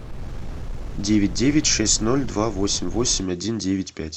девять девять шесть ноль два восемь восемь один девять пять